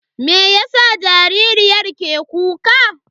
Meyasa jaririyar ake kuka?